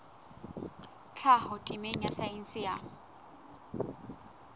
tlhaho temeng ya saense ya